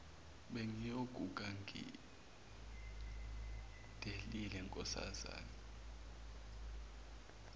bengiyokufa ngidelile nkosazana